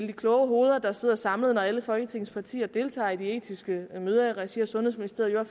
de kloge hoveder der sidder samlet når alle folketingets partier deltager i de etiske møder i regi af sundhedsministeriet jo